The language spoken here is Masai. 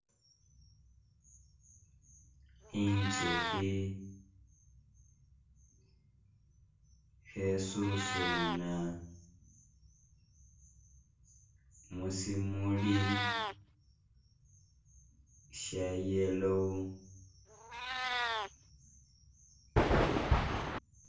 Inzuhi khesusuna musimuli sha yellow